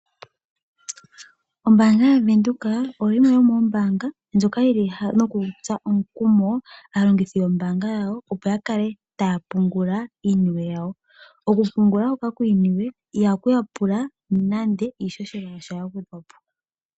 Ombaanga ya Windhoek oyo yimwe yomoombaanga dhoka hadhi tsu aantu nenge nditye aalongithi yombaanga oyo tuu ndjika omukumo opo ya kale nokutsikila okupungula iisimpo yawo. Okupungula kombaanga oyo tuu ndjika i hayi pula omuntu a fute oshimaliwa sha sha.